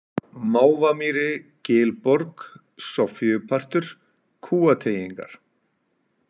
Mávamýri, Gilborg, Soffíupartur, Kúateygingar